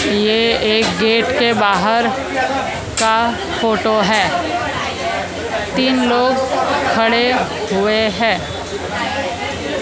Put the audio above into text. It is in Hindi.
ये एक गेट के बाहर का फोटो है तीन लोग खड़े हुए हैं।